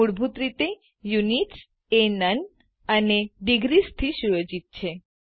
મૂળભૂત રીતે યુનિટ્સ એ નોને અને ડિગ્રીસ થી સુયોજિત છે